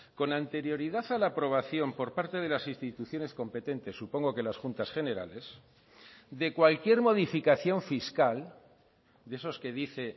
con anterioridad a la aprobación por parte de las instituciones competentes supongo que las juntas generales de cualquier modificación fiscal de esos que dice